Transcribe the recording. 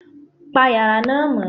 Pa yàrá náà mọ́.